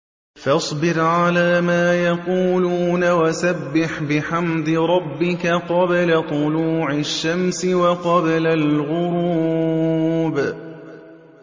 فَاصْبِرْ عَلَىٰ مَا يَقُولُونَ وَسَبِّحْ بِحَمْدِ رَبِّكَ قَبْلَ طُلُوعِ الشَّمْسِ وَقَبْلَ الْغُرُوبِ